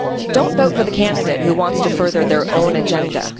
Don't vote for the candidate who wants to further their own agenda.